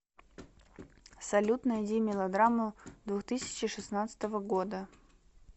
салют найди мелодраму двухтысячи шестнадцатого года